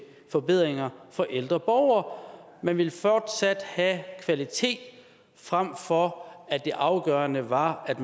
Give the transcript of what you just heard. forbedringer for ældre borgere man ville fortsat have kvalitet frem for at det afgørende var at